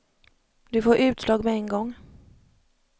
Du får utslag med en gång.